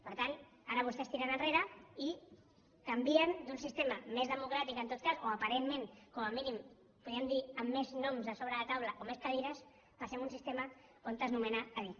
per tant ara vostès tiren enrere i canvien d’un sistema més democràtic en tot cas o aparentment com a mínim podríem dir amb més noms a sobre de la taula o més cadires i passem a un sistema on es nomena a dit